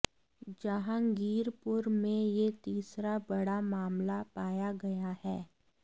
जहांगीरपुरी में यह तीसरा बड़ा मामला पाया गया है